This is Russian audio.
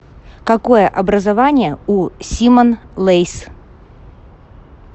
какое образование у симон лейс